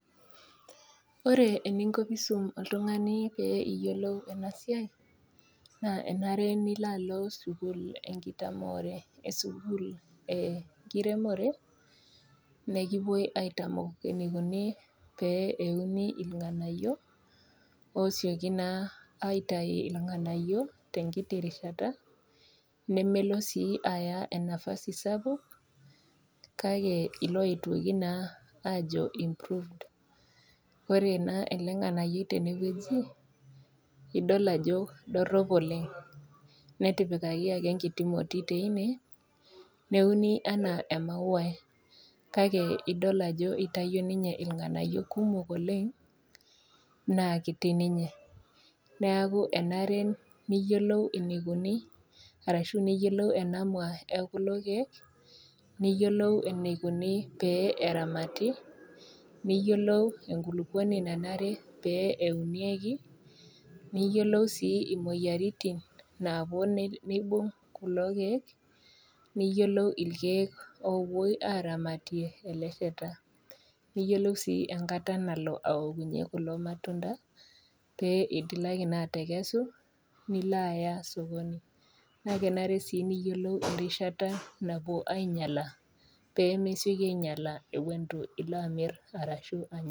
Ore eninko piisum oltung'ani pee iyiolou ena siai naa enare nilo alo sukuul enkitamore esukuul eh enkiremore nekipuoi aitamok eneikuni pee euni ilnga'anayio osioki naa aitai ilng'anayio tenkiti rishata nemelo sii aya enafasi sapuk kake ilo atoki naa ajo improved ore naa ele ng'anayioi tenewoji idol ajo dorrop oleng netipikaki ake enkiti moti teine neuni anaa emauai kake idol ajo itayio ninye ilang'anayio kumok oleng naa kiti ninye neaku enare niyiolou eneikuni arashu niyiolou ena mua ekulo keek niyiolou enaikuni pee eramati neyiolou enkulukuoni nanare pee eunieki niyiolou sii imoyiaritin naapuo nei neibung kulo keek niyiolou ilkeek opuoi aramatie ele sheta niyiolou sii enkata nalo aokunyie kulo matunda pee itilaki naa atekesu nilo aya sokoni naa kenare sii niyiolou erishata napuo ainyiala pemesioki ainyiala ewuon itu ilo amirr arashu anya.